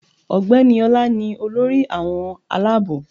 Ọ̀gbẹ́ni Ọla ni olórí àwọn alábò